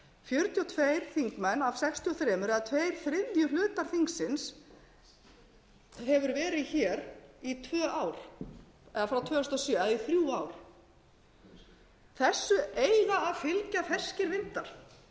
fjörutíu og tveir þingmenn af sextíu og þrjú eða tveir þriðju hlutar þingsins hefur verið í tvö ár eða frá tvö þúsund og sjö í þrjú ár þessu eiga að fylgja ferskir vindar